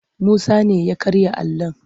Musa ne ya karya alon.